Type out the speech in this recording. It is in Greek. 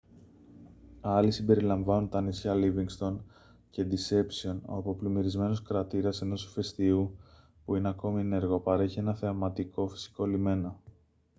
άλλοι συμπεριλαμβάνουν τα νησιά λίβινγκστον και ντισέπσιον όπου ο πλημμυρισμένος κρατήρας ενός ηφαιστείου που είναι ακόμη ενεργό παρέχει έναν θεαματικό φυσικό λιμένα